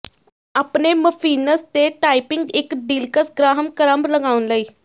ਆਪਣੇ ਮਫਿਨਸ ਤੇ ਟਾਪਿੰਗ ਇੱਕ ਡੀਲਕਸ ਗ੍ਰਾਹਮ ਕਰੰਬ ਲਗਾਉਣ ਲਈ